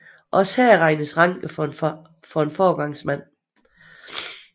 Også her regnes Ranke for en foregangsmand